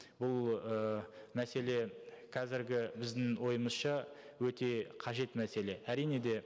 бұл ы мәселе қазіргі біздің ойымызша өте қажет мәселе әрине де